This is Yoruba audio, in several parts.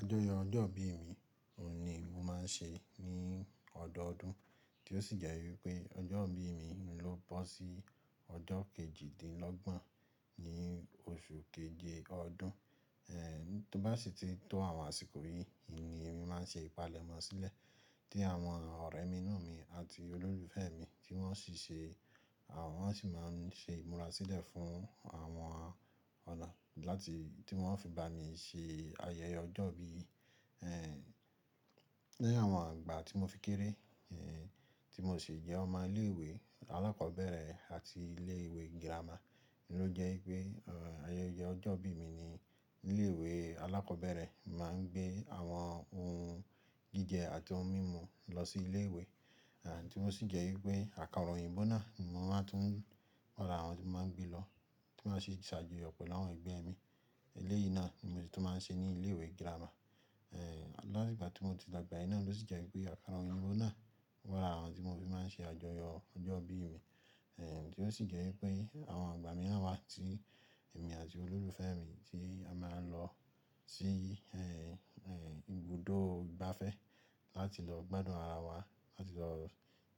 Àjọyọ̀ ọjọ́ ìbí mi ni mo máa ń ṣe ní ọdọọdún. Tí ó sì jẹ́ wípé ọjọ́ ìbí mi ló bọ́ sí ọjọ́ kejìdínlọ́gbọ̀n ní oṣù keje ọdún. Eh, tó bá sì ti tó àwọn àsìkò bí, oun ní mo máa ń ṣe ìpalẹ̀mọ́ sílẹ̀ tí àwọn ọ̀rẹ́minú mi àti olólùfẹ́ mi tí wọ́n sì ṣe, àwọn sì máa ń ṣe ìmúra sílẹ̀ fún àwọn ọ̀nà láti tí wọ́n fi bá mi se ayẹyẹ ọjọ́ ìbí. Eh, lẹ́yìn àwọn igbà tí mo fi kéré, eh, tí mo sì jẹ́ ọmọ ilé ìwé alákọ̀ọ́bẹ̀rẹ̀ àti ilé ìwé gírámà. Ni ó jẹ́ wípé, eh, ayẹyẹ ọjọ́ ìbí mi ni ilé ìwé alákọ̀ọ́bẹ̀rẹ̀ máa ń gbé àwọn ohun jíjẹ àti ohun mímu lọ sí ilé ìwé. À tí ó sì jẹ́ wípé àkàrà òyìnbó náà ni mo máa tún n ra àwọn tí mo máa n gbé lọ tí wọ́n sì máa si sàjọyọ̀ pẹ̀lú àwọn ẹgbẹ́ mi. Eléyìí náà ni mo tún máa ń ṣe ní ilé ìwé gírámà. Eh, láti ìgbà tí mo ti lọ gbà ẹ̀ náà ló sì jẹ́ wípé àkàrà òyìnbó náà wa lara àwọn oun tí mo fi máa ń ṣe àjọyọ̀ ọjọ́ ìbí mi. Eh, tí ó sì jẹ́ wípé àwọn igbà míran wa tí èmi àti olólùfẹ́ mi ti a máa ń lọ sí, eh, eh, ibùdó igbàfẹ́ láti lọ gbádùn ara wa, láti lọ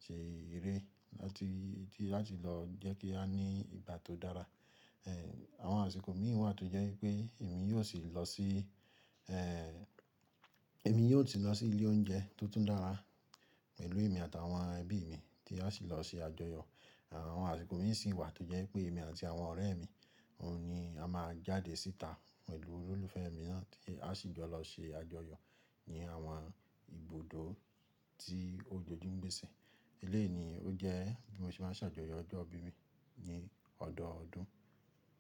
ṣe eré, láti, láti lọ jẹ́ kí á ní ìgbà tó dára. Eh, àwọn àsìkò mìíràn sì wà tí ó jẹ́ wípé èmi yóò sì lọ sí, eh, èmi yóò sì lọ sí ilé oúnjẹ tó tún dára pẹ̀lú èmi àtàwọn ẹbí mi tí a sì lọ ṣe àjọyọ̀. Àwọn àsìkò mìíràn sì wà tí o jẹ́ pé èmi àti àwọn ọ̀rẹ́ mi ni a máa jáde síta pẹ̀lú olólùfẹ́ mi náà tí a sì jọ lọ ṣe àjọyọ̀ ní àwọn ibùdó tí o jòjú ń gbèse. Eléyìí ni ó jẹ́ bí mo ṣe máa ń ṣàjọyọ̀ ọjọ́ ìbí mi ní ọdọọdún.